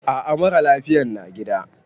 A a, mara lafiyan na gida.